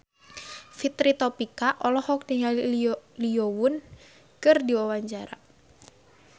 Fitri Tropika olohok ningali Lee Yo Won keur diwawancara